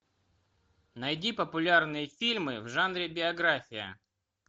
найди популярные фильмы в жанре биография